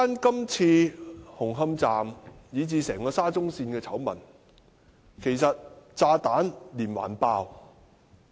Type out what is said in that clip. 今次紅磡站以至整條沙中線的醜聞，其實炸彈連環爆。